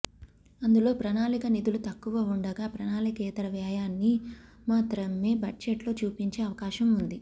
అందులో ప్రణాళికా నిధులు తక్కువ ఉండగా ప్రణాళికేతర వ్యయాన్ని మాత్రమే బడ్జెట్ లో చూపించే అవకాశం ఉంది